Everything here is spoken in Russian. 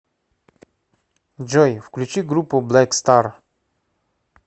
джой включи группу блэк стар